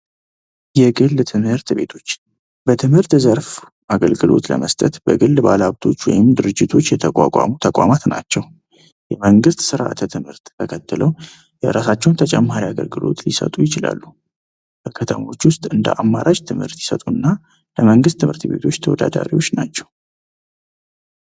የግል ትምህርት ቤቶች በግል ዘርፍ አገልግሎት ለመስጠት በግል ባለሀብቶች ወይም ድርጅቶች የተቋቋሙ ተቋማት ናቸው። የመንግስትን ስርዓተ ትምህርት ተከትለው የራሳቸውን ተጨማሪ አገልግሎት ሊሰጡ ይችላሉ። ህገ ደንቦችን እንደ አማራጭ ይሰጡና ከመንግስት ትምህርት ቤቶች ተወዳዳሪ ናቸው።